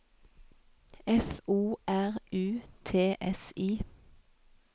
F O R U T S I